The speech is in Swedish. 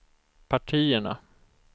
partierna